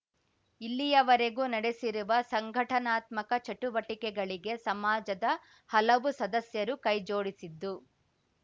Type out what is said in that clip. ಇಲ್ಲಿಯವರೆಗೂ ನಡೆಸಿರುವ ಸಂಘಟನಾತ್ಮಕ ಚಟುವಟಿಕೆಗಳಿಗೆ ಸಮಾಜದ ಹಲವು ಸದಸ್ಯರು ಕೈಜೋಡಿಸಿದ್ದು